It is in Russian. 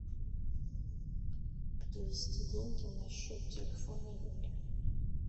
перевести деньги на счет телефона юли